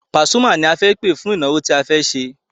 Pasuma ni a fẹ́ pẹ̀ fún ìnáwó tí a fẹ́ ṣe.